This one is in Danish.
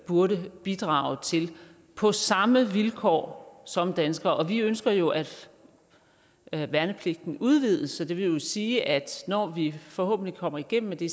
burde bidrage til på samme vilkår som danskere og vi ønsker jo at at værnepligten udvides så det vil jo sige at når vi forhåbentlig kommer igennem med det